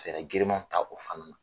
Fɛɛrɛ girimanw ta o fana na.